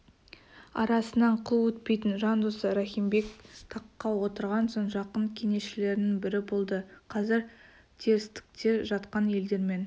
арасынан қыл өтпейтін жан досы рахим бек таққа отырған соң жақын кеңесшілерінің бірі болды қазір терістікте жатқан елдермен